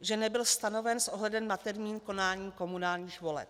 že nebyl stanoven s ohledem na termín konání komunálních voleb.